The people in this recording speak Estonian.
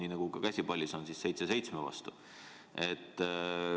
Ja nii on ka käsipallis, kus mäng on seitse seitsme vastu.